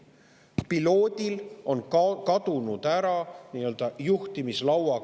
Piloodil on ära kadunud side juhtimislauaga.